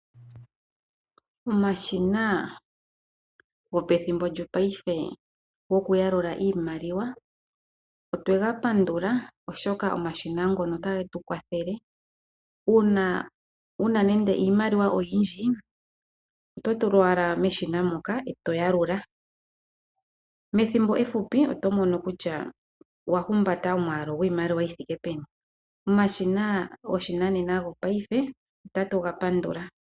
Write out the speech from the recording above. Omashina gopethimbo lyopaife gokuyalula iimaliwa otwe ga pandula oshoka omashina ngoka otage tu kwathele. Uuna wu na nando iimaliwa oyindji oto tula owala meshina moka e to yalula. Methimbo efupi oto mono kutya owa humbata omwaalu gwiimaliwa yomwaalu yi thike peni. Omashina goshinanena gopaife otatu ga pandula.